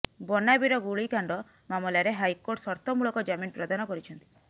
ବନାବିରା ଗୁଳିକାଣ୍ଡ ମାମଲାରେ ହାଇକୋର୍ଟ ସର୍ତ୍ତମୂଳକ ଜାମିନ ପ୍ରଦାନ କରିଛନ୍ତି